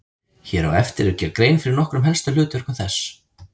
Hér á eftir er gerð grein fyrir nokkrum helstu hlutverkum þess.